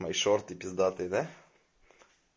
мои шорты пиздатые да